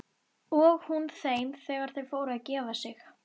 Og hún þeim þegar þau fóru að gefa sig.